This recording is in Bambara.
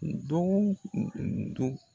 dɔgɔ don